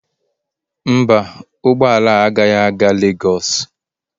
Mba, ụgbọ ala agaghị aga Lagos